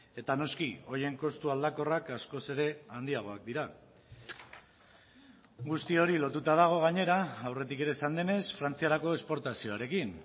eta noski horien kostu aldakorrak askoz ere handiagoak dira guzti hori lotuta dago gainera aurretik ere esan denez frantziarako esportazioarekin